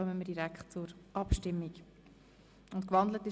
– Das ist nicht der Fall.